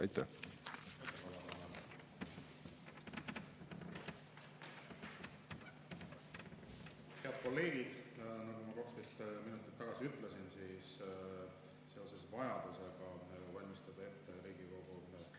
Aitäh!